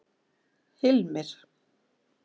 Hilmir